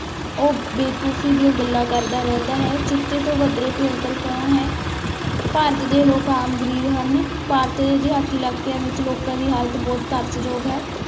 ਉਹ ਬੇਵਕੁਫ਼ ਸੀ ਜੋ ਗੱਲਾਂ ਕਰਦਾ ਰਹਿੰਦਾ ਹੈ, ਚੀਤੇ ਤੋਂ ਵੱਧਰੇ ਭਿਅੰਕਰ ਕੌਣ ਹੈ, ਭਾਰਤ ਦੇ ਲੋਕ ਆਮ ਗ਼ਰੀਬ ਹਨ, ਭਾਰਤ ਦਿਹਾਤੀ ਇਲਾਕਿਆਂ ਵਿੱਚ ਲੋਕਾਂ ਦੀ ਹਾਲਤ ਬਹੁਤ ਤਰਸਯੋਗ ਹੈ।